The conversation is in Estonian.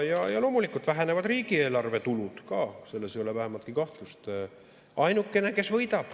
Ja loomulikult vähenevad riigieelarve tulud, selles ei ole vähimatki kahtlust.